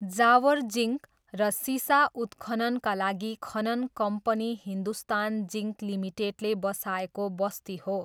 Jawar zinc र सिसा उत्खननका लागि खनन कम्पनी हिन्दुस्तान जिङ्क लिमिटेडले बसाएको बस्ती हो।